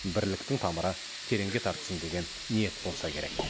бірліктің тамыры тереңге тартсын деген ниет болса керек